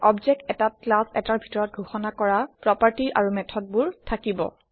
object এটাত class এটাৰ ভিতৰত ঘোষণা কৰা প্ৰপাৰ্টি আৰু মেথডবোৰ থাকিব